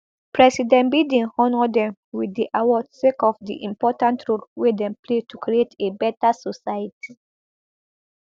president biden honour dem wit di award sake of di important role wey dem dey play to create a beta society